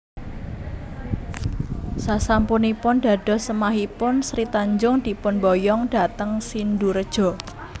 Sasampunipun dados semahipun Sri Tanjung dipun boyong dhateng Sindurejo